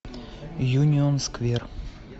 юнион сквер